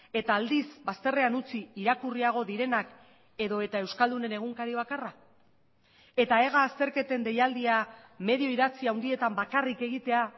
eta aldiz bazterrean utzi irakurriago direnak edota euskaldunen egunkari bakarra eta ega azterketen deialdia medio idatzi handietan bakarrik egitea